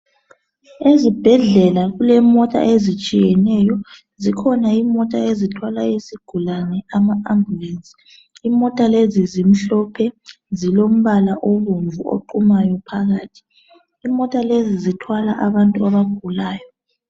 Ezibhedlela kulemota ezitshiyeneyo. Zikhona imota ezithwala izigulane, ama ambulance. Imota lezi zimhlophe, zilombala obomvu oqumayo phakathi. Imota lezi zithwala abantu abagulayo.